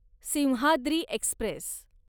Simhadri Express